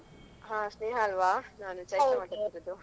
ಹಾ ಸ್ನೇಹಲ್ವಾ ನಾನು ಚೈತ್ರ ಮಾತಾಡ್ತಿರುದು.